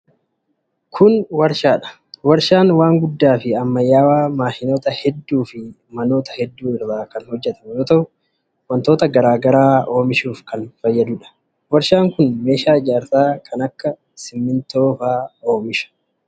Kun warshaa dha. Warshaan waan guddaa fi ammayyawaa maashinoota hedduu fi manoota hedduu irraa kan hojjatamu yoo ta'u, wantoota garaa garaa oomishuuf kan fayyaduu dha. Warshaan kun meeshaa ijaarsaa kan akka simiintoo oomisha.